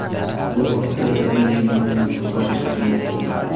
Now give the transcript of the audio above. Bu haqda Daily Mail xabar qilmoqda .